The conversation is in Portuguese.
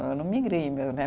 Eu não migrei né